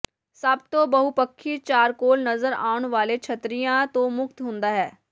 ਸਭ ਤੋਂ ਬਹੁਪੱਖੀ ਚਾਰਕੋਲ ਨਜ਼ਰ ਆਉਣ ਵਾਲੇ ਛੱਤਰੀਆਂ ਤੋਂ ਮੁਕਤ ਹੁੰਦਾ ਹੈ